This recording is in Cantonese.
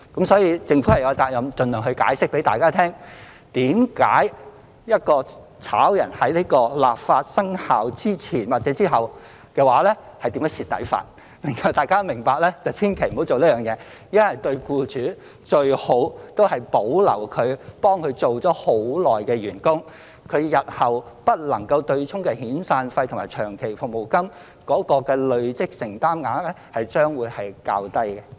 所以，政府有責任盡量向大家解釋，為何在立法生效前或後解僱員工是會吃虧的，讓大家明白千萬不要這樣做，因為對僱主而言，最好就是保留為他們工作已久的員工，日後不能夠"對沖"的遣散費和長服金累積承擔額將會較低。